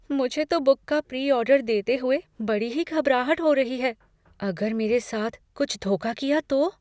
मुझे तो बुक का प्री ऑर्डर देते हुए बड़ी ही घबराहट हो रही है, अगर मेरे साथ कुछ धोखा किया तो?